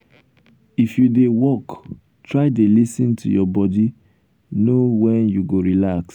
if you dey work try dey lis ten to your body know wen you go relax.